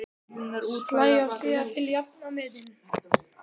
Slæ af síðar til að jafna metin.